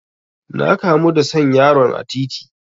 Na kamu da son yaron a titi.